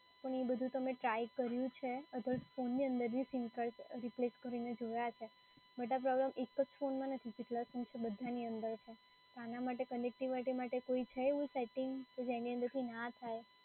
પણ એ બધું તો મેં ટ્રાય કર્યું છે. અધર ફોન ની અંદર બી સીમ કાર્ડ replace કરીને જોય છે, but આ પ્રોબ્લેમ એક જ ફોનમાં નથી, જેટલાં ફોન છે બધાની અંદર છે. તો આના માટે connectivity માટે છે એવું કોઈ સેટિંગ કે જેની અંદરથી ના થાય.